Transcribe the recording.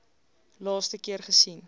laaste keer gesien